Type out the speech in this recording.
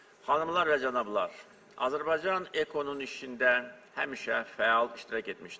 Xanımlar və cənablar, Azərbaycan EKO-nun işində həmişə fəal iştirak etmişdir.